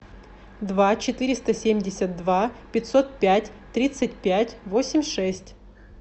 два четыреста семьдесят два пятьсот пять тридцать пять восемь шесть